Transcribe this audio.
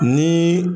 Ni